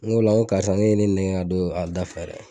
N go ola ko karisa e ye ne nɛgɛ ka don a da fɛ dɛ